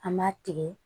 An b'a tigɛ